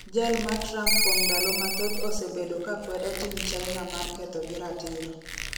Jal ma Tramp kuom ndalo mathoth osebedo ka kwedo tim China mar ketho gi ratiro